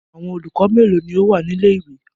Awọn olukọni melo ni o wa ni ile-iwe?